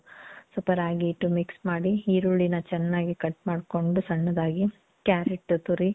ಸ್ವಲ್ಪ ರಾಗಿ ಹಿಟ್ಟು mix ಮಾಡಿ, ಈರುಳ್ಳಿನ ಚನ್ನಾಗ್ cut ಮಾಡ್ಕೊಂಡು ಸಣ್ಣದಾಗಿ, ಕ್ಯಾರಟ್ ತುರಿ,